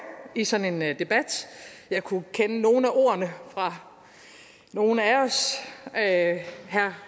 i sådan en debat jeg kunne kende nogle af ordene fra nogle af